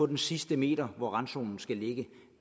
den sidste meter og randzonen skal ligge